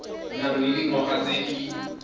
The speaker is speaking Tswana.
nang le dingwaga tse di